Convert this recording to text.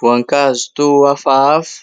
Voankazo toa hafahafa,